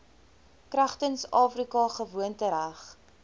kragtens afrika gewoontereg